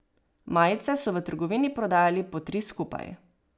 Majice so v trgovini prodajali po tri skupaj.